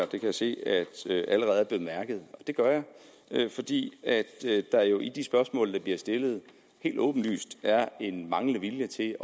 kan se at det allerede er blevet bemærket og det gør jeg fordi der jo i de spørgsmål der bliver stillet helt åbenlyst er en manglende vilje til